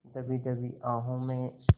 दबी दबी आहों में